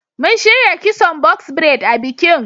Mun shirya kison box braid a bikin.